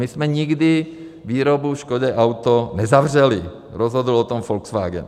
My jsme nikdy výrobu Škodě Auto nezavřeli, rozhodl o tom Volkswagen.